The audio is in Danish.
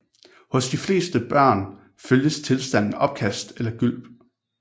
Hos de fleste børn følges tilstanden opkast eller gylp